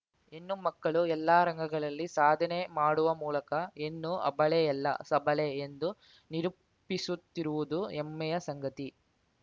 ಹೆಣ್ಣು ಮಕ್ಕಳು ಎಲ್ಲಾ ರಂಗಗಳಲ್ಲಿ ಸಾಧನೆ ಮಾಡುವ ಮೂಲಕ ಹೆಣ್ಣು ಅಬಲೆಯಲ್ಲ ಸಬಲೆ ಎಂದು ನಿರೂಪಿಸುತ್ತಿರುವುದು ಹೆಮ್ಮೆಯ ಸಂಗತಿ